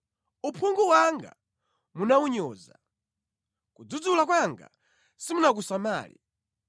Uphungu wanga munawunyoza. Kudzudzula kwanga simunakusamale.